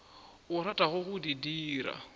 o ratago go di dira